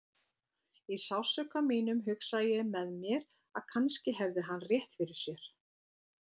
Í sársauka mínum hugsaði ég með mér að kannski hefði hann rétt fyrir sér.